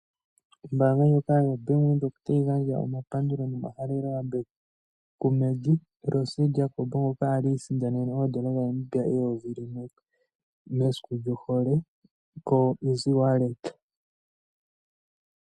Ombanga ndjoka yo Bank Windhoek otayi gandja omapandulo nomahalelo yambeko ku Maggie Rose Jacob, ngoka ali isindanene N$1000.00 mesiku lyohole koshimaliwa shoko ngodhi.